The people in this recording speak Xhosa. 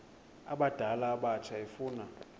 abadala abatsha efuna